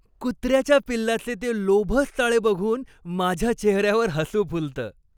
कुत्र्याच्या पिल्लांचे ते लोभस चाळे बघून माझ्या चेहऱ्यावर हसू फुलतं.